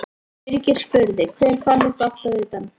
Birgir spurði: Hver fann upp áttavitann?